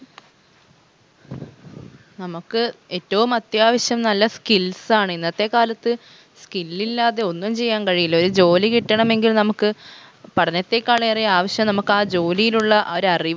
നമുക്ക് ഏറ്റവും അത്യാവശ്യം നല്ല skills ആണ് ഇന്നത്തെ കാലത്ത് skill ഇല്ലാതെ ഒന്നും ചെയ്യാൻ കഴിയില്ല ഒരു ജോലി കിട്ടണമെങ്കിൽ നമക്ക് പഠനത്തേക്കാളേറെ ആവശ്യം നമക്കാ ജോലിയിലുള്ള ആ ഒരറിവ്